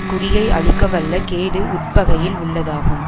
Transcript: குடியை அழிக்கவல்ல கேடு உட்பகையில் உள்ளதாகும்